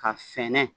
Ka sɛnɛ